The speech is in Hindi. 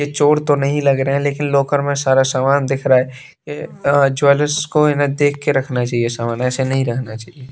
यह चोर तो नहीं लग रहे हैं लेकिन लॉकर में सारा सामान दिख रहा है यह अ ज्वेलर्स को इन्हें देख के रखना चाहिए सामान ऐसे नहीं रखना चाहिए।